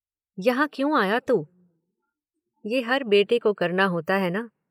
यहाँ क्यों आया तू? ये हर बेटे को करना होता है न।